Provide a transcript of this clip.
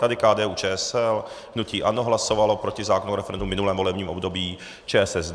Tady KDU-ČSL, hnutí ANO hlasovalo proti zákonu o referendu v minulém volebním období, ČSSD.